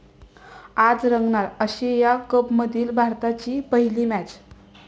आज रंगणार एशिया कपमधली भारताची पहिली मॅच